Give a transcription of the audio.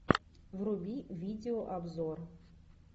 вруби видеообзор